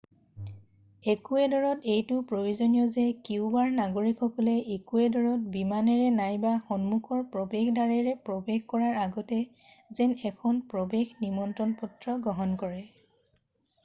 একুৱেডৰত এইটো প্ৰয়োজনীয় যে কিউবাৰ নাগৰিকসকলে ইকুৱেডৰত বিমানেৰে নাইবা সন্মুখৰ প্ৰৱেশ দ্বাৰেৰে প্ৰৱেশ কৰাৰ আগতে যেন এখন প্ৰৱেশ নিমন্ত্ৰণ পত্ৰ গ্ৰহণ কৰে